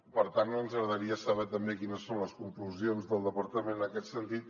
per tant ens agradaria saber també quines són les conclusions del departament en aquest sentit